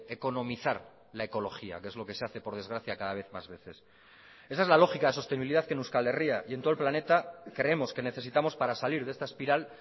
economizar la ecología que es lo que se hace por desgracia cada vez más veces esa es la lógica de sostenibilidad que en euskal herria y en todo el planeta creemos que necesitamos para salir de esta espiral